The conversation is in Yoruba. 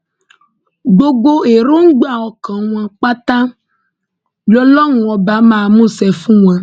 gbogbo èròǹgbà ọkàn wọn pátá lọlọrun ọba máa mú ṣe fún wọn